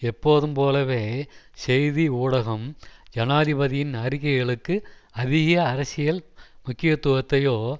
எப்போதும் போலவே செய்தி ஊடகம் ஜனாதிபதியின் அறிக்கைகளுக்கு அதிக அரசியல் முக்கியத்துவத்தையோ